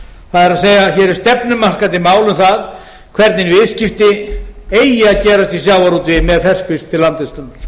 það er hér er stefnumarkandi mál um það hvernig viðskipti eigi að gerast í sjávarútvegi með ferskfisk til land vistunar